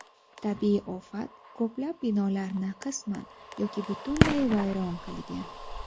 Tabiiy ofat ko‘plab binolarni qisman yoki butunlay vayron qilgan.